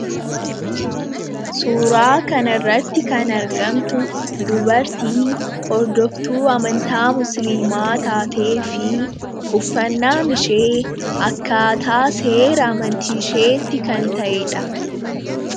Suuraa kan irratti kan argamtu dubartii hordoftuu amantaa musliimaa taatee fi uffannaan ishee akkaataa seera amantiisheetti kan ta'edha.